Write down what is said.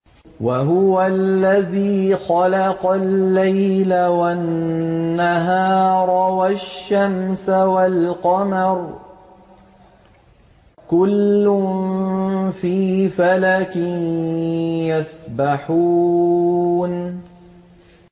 وَهُوَ الَّذِي خَلَقَ اللَّيْلَ وَالنَّهَارَ وَالشَّمْسَ وَالْقَمَرَ ۖ كُلٌّ فِي فَلَكٍ يَسْبَحُونَ